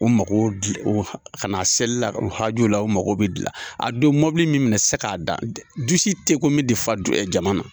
U makow dilan o kana selila u hajuw la o mako bɛ dilan, a don mɔbili min minɛ se k'a dan du si te ko min tɛ fa jama na.